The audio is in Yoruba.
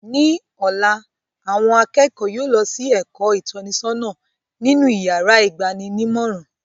Ní ọ̀la, àwọn akẹ́kọ̀ọ́ yóò lọ sí èkọ́ ìtọ́nisọ́nà nínú yàrá ìgba'ninímọ̀ràn